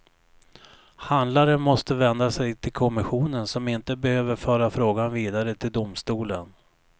Handlaren måste vända sig till kommissionen, som inte behöver föra frågan vidare till domstolen.